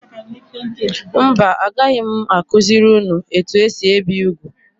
Mba agaghị m akuziri ụnụ etu esị ebi úgwú.